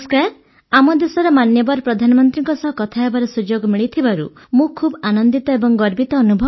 ଆମ ଦେଶର ମାନ୍ୟବର ପ୍ରଧାନମନ୍ତ୍ରୀଙ୍କ ସହ କଥାହେବାର ସୁଯୋଗ ମିଳିଥିବାରୁ ମୁଁ ଖୁବ୍ ଆନନ୍ଦିତ ଓ ଗର୍ବିତ ଅନୁଭବ କରୁଛି